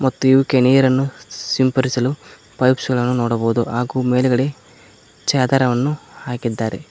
ಮತ್ತು ಇವುಕ್ಕೆ ನೀರನ್ನು ಸಂಪಡಿಸಲು ಪೈಪ್ಸ್ ಗಳನ್ನು ನೋಡಬಹುದು ಹಾಗು ಮೇಲ್ಗಡೆ ಚದರವನ್ನು ಹಾಕಿದ್ದಾರೆ.